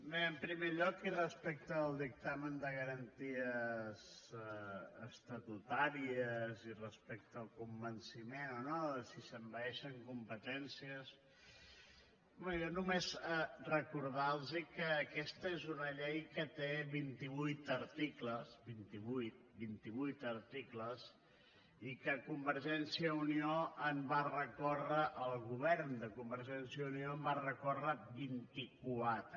bé en primer lloc i respecte al dictamen del consell de garanties estatutàries i respecte al convenciment o no de si s’envaeixen competències home jo només recordar los que aquesta és una llei que té vinti vuit articles vint i vuit articles i que el govern de convergència i unió va recórrer contra vint i quatre